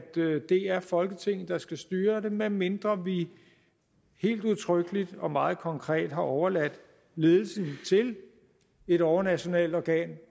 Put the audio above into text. det er folketinget der skal styre det medmindre vi helt udtrykkeligt og meget konkret har overladt ledelsen til et overnationalt organ